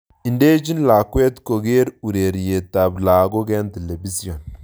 Idechin lakwet kokere ureryet tab lakok en telepision